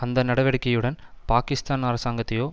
அந்த நடவடிக்கையுடன் பாகிஸ்தான் அரசாங்கத்தையோ